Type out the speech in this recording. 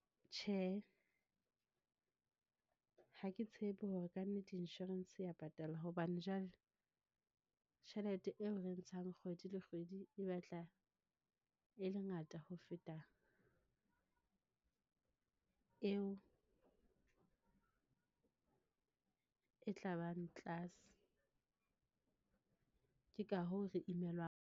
Tjhe, ha ke tshepe hore ka nnete insurance e ya patala, hobane jwale tjhelete eo re e ntshang kgwedi le kgwedi e batla e le ngata ho feta eo e tla bang tlase. Ke ka hoo re imelwang.